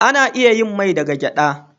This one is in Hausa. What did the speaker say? Ana iya yin mai daga gyaɗa.